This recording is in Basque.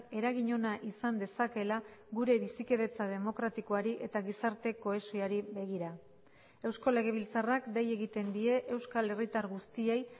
eragin ona izan dezakeela gure bizikidetza demokratikoari eta gizarte kohesioari begira eusko legebiltzarrak dei egiten die euskal herritar guztiei